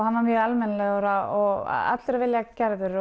hann var mjög almennilegur og allur af vilja gerður